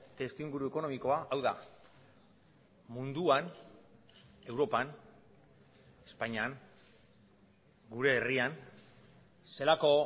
testuinguru ekonomikoa hau da munduan europan espainian gure herrian zelako